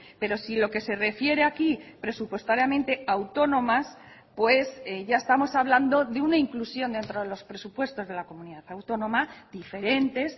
pero si lo que se refiere aquí presupuestariamente autónomas pues ya estamos hablando de una inclusión entre los presupuestos de la comunidad autónoma diferentes